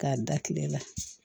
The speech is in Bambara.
K'a da kile la